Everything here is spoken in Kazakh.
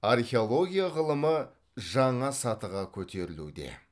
археология ғылымы жаңа сатыға көтерілуде